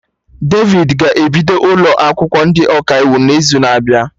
Devid ga-ebido ụlọ akwụkwọ ndị Ọkaiwu n'izu na-abịa